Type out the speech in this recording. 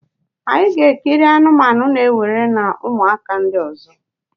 anyị ga-ekiri anụmanụ na-ewere na ụmụaka ndị ọzọ.